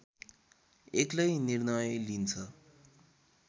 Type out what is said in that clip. एक्लै निर्णय लिन्छ